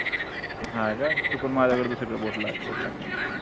नाय ग चुकून माझ्या कडून दुसरी कड बोट लागलं बोट लागलं होत